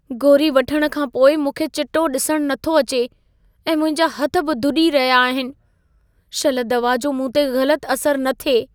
गोरी वठण खां पोइ मूंखे चिटो ॾिसण नथो अचे ऐं मुंहिंजा हथ बि धुॾी रहिया आहिनि। शल दवा जो मूं ते ग़लत असरि न थिए।